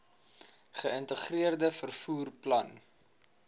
geïntegreerde vervoer plan